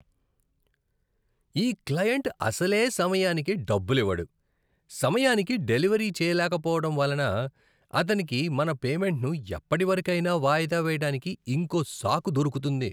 ఈ క్లయింట్ అసలే సమయానికి డబ్బులివ్వడు, సమయానికి డెలివరీ చేయలేకపోవడం వలన అతనికి మన పేమెంట్ను ఎప్పటివరకైనా వాయిదా వేయడానికి ఇంకో సాకు దొరుకుతుంది.